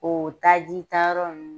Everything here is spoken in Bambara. O taji tayɔrɔ ninnu